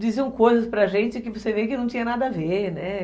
Diziam coisas para a gente que você vê que não tinha nada a ver, né?